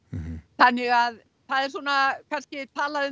þannig að það er svona kannski talað um